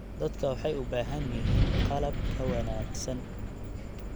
Dadku waxay u baahan yihiin qalab ka wanaagsan.